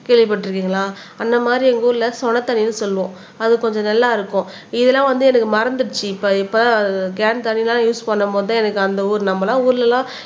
கேள்விப்பட்டிருக்கீங்களா அந்த மாதிரி எங்க ஊர்ல சொன்ன தண்ணினு சொல்லுவோம் அது கொஞ்சம் நல்லா இருக்கும் இதெல்லாம் வந்து எனக்கு மறந்துடுச்சு இப்போ கேன் தண்ணி தான் யூஸ் பண்ணும் போது தான் எனக்கு அந்த ஊரு நம்ம எல்லாம் ஊர்ல எல்லாம்